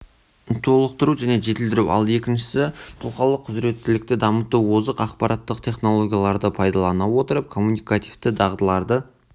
толықтыру және жетілдіру ал екіншісі тұлғалық құзыреттілікті дамыту озық ақпараттық технологияларды пайдалана отырып коммуникативті дағдыларды